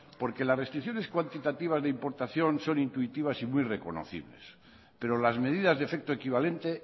porque las restricciones cuantitativas de importación son intuitivas y muy reconocibles pero las medidas de efecto equivalente